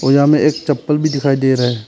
यहां हमें एक चप्पल भी दिखाई दे रहे हैं।